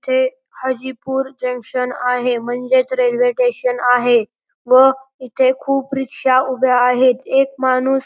चे हाजीपूर जंक्शन आहे म्हणजेच रेल्वे टेशन आहे व इथे खूप रिक्षा उभ्या आहेत एक माणूस--